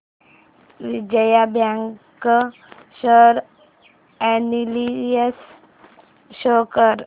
Vijaya bank share analysis show कर